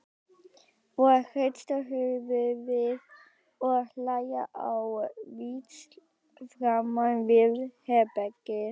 Og hrista höfuðið og hlæja á víxl framan við herbergið.